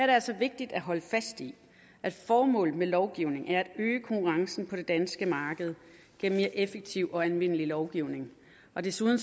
det altså vigtigt at holde fast i at formålet med lovgivningen er at øge konkurrencen på det danske marked gennem mere effektiv og anvendelig lovgivning og desuden